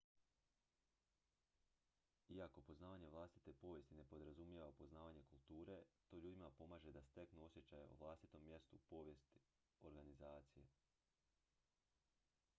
iako poznavanje vlastite povijesti ne podrazumijeva poznavanje kulture to ljudima pomaže da steknu osjećaj o vlastitom mjestu u povijest organizacije